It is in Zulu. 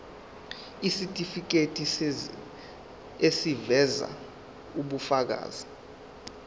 isitifiketi eziveza ubufakazi